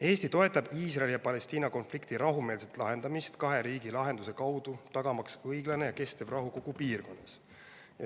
Eesti toetab Iisraeli ja Palestiina konflikti rahumeelset lahendamist kahe riigi lahenduse kaudu, tagamaks õiglane ja kestev rahu kogu piirkonnas.